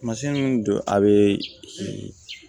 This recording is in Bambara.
Tamasiyɛn min don a be